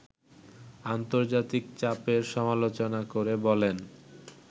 আন্তর্জাতিক চাপের সমালোচনা করে বলেন